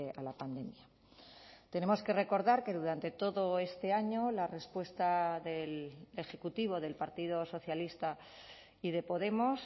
a la pandemia tenemos que recordar que durante todo este año la respuesta del ejecutivo del partido socialista y de podemos